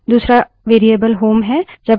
दूसरा variable home home है